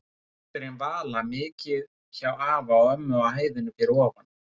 Dóttirin Vala mikið hjá afa og ömmu á hæðinni fyrir ofan.